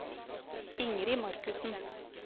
Ingrid Markussen